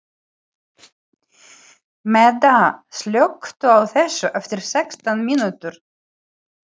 Meda, slökktu á þessu eftir sextán mínútur.